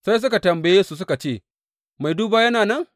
Sai suka tambaye su, suka ce, Mai duba yana nan?